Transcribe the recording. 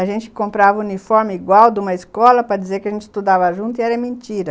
A gente comprava uniforme igual de uma escola para dizer que a gente estudava junto e era mentira.